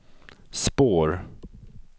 spår